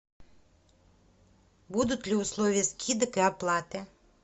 будут ли условия скидок и оплаты